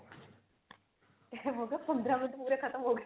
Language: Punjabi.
time ਹੋ ਗਿਆ ਪੰਦਰਾਂ ਮਿੰਟ ਪੂਰੇ ਖਤਮ ਹੋ ਗਏ